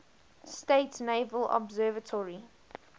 states naval observatory